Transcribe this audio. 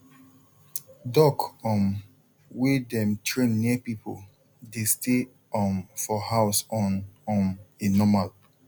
duck um wey dem train near people dey stay um for house on um a normal